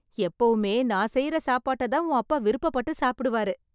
எப்போவும்மே நான் செய்யற சாப்பாட்ட தான் உன் அப்பா விருப்பபட்டு சாப்பிடுவார்